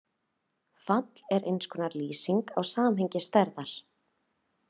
Fall er eins konar lýsing á samhengi stærða.